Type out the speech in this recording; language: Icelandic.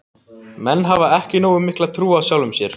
Menn hafa ekki nógu mikla trú á sjálfum sér.